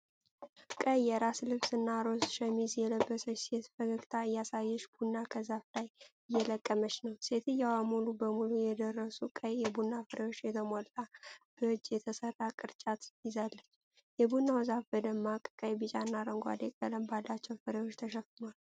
ቀይ የራስ ልብስ እና ሮዝ ሸሚዝ የለበሰች ሴት ፈገግታ እያሳየች ቡና ከዛፉ ላይ እየለቀመች ነው። ሴትየዋ ሙሉ በሙሉ የደረሱ ቀይ የቡና ፍሬዎች የተሞላ በእጅ የተሠራ ቅርጫት ይዛለች። የቡናው ዛፍ በደማቅ ቀይ፣ ቢጫና አረንጓዴ ቀለም ባላቸው ፍሬዎች ተሸፍኗል።